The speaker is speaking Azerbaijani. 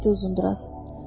Dedi Uzundraz.